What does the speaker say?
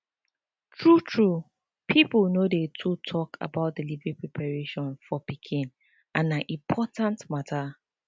true true people no dey too talk about delivery preparation for pikin and na important matter